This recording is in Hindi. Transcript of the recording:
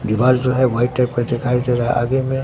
दीवाल जो है व्हाइट टाइप दिखाई दे रहा है आगे में--